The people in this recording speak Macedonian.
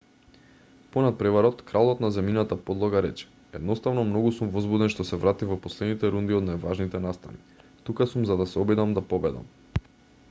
по натпреварот кралот на земјината подлога рече едноставно многу сум возбуден што се вратив во последните рунди од најважните настани тука сум за да се обидам да победам